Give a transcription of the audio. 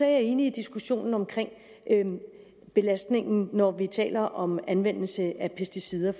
jeg enig i diskussionen om belastningen når vi taler om anvendelse af pesticider